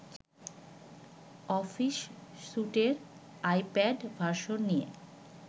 office স্যুটের iPad version নিয়ে